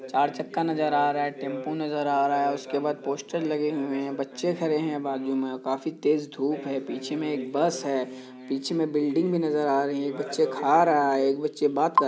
चार चक्का नजर आ रहा है टेम्पो नजर आ रहा है। उसके बाद पोस्टर लगे हुए हैं। बच्चे खड़े हैं बाजु में। काफी तेज धुप है। पीछे में एक बस है। पीछे में बिल्डिंग नजर आ रही है बच्चे खा रहा है एक बच्चे बात कर --